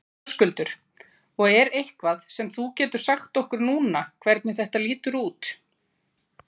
Höskuldur: Og er eitthvað sem þú getur sagt okkur núna hvernig þetta lítur út?